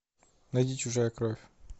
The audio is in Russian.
найди чужая кровь